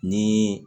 Ni